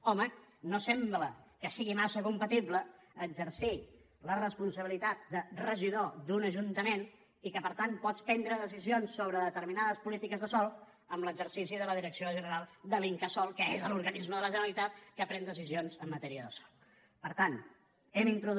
home no sembla que sigui massa compatible exercir la responsabilitat de regidor d’un ajuntament i que per tant pots prendre decisions sobre determinades polítiques de sòl amb l’exercici de la direcció general de l’incasòl que és l’organisme de la generalitat que pren decisions en matèria de sòl